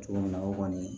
Cogo min na o kɔni